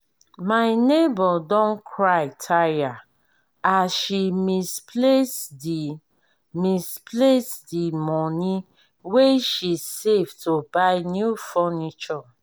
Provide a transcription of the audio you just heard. my nebor don cry tire as she misplace di misplace di money wey she save to buy new furniture